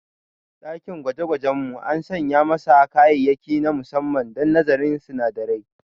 Dakin gwajegwajen mu an sanya masa kayayyaki na musamman don nazarin sinadarai.